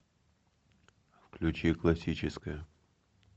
включи классическая